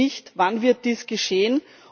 Wenn nicht, wann wird dies geschehen?